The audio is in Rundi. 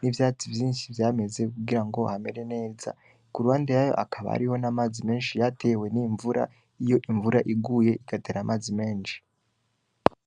n'ivyatsi vyinshi vyameze kugirango hamere neza . Kuruhande yayo hakaba hari n'amazi menshi yatewe n'imvura , iyo imvura iguye igatera amazi menshi.